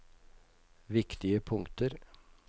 viktige punkter